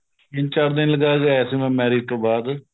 ਤਿੰਨ ਚਾਰ ਦਿਨ ਲਗਾਕੇ ਆਇਆ ਸੀ ਮੈ marriage ਤੋ ਬਾਅਦ